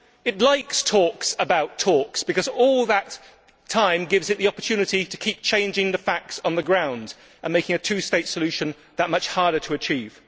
It likes talks about talks because all that time gives it the opportunity to keep changing the facts on the ground and making a two state solution that much harder to achieve.